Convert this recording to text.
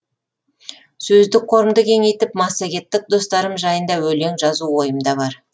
сөздік қорымды кеңейтіп массагеттік достарым жайында өлең жазу ойымда бар